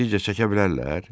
Sizcə çəkə bilərlər?